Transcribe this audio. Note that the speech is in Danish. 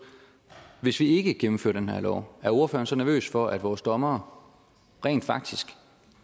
hvis ikke vi gennemfører den her lov er ordføreren så nervøs for at vores dommere rent faktisk